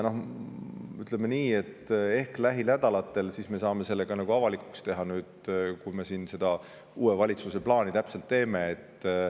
Ütleme nii, et ehk lähinädalatel me saame selle ka avalikuks teha – nüüd, kui me uue valitsuse plaani täpselt teeme.